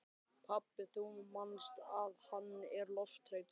Pabbi, þú manst að hann er lofthræddur.